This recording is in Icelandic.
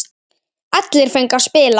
Allir fengu að spila.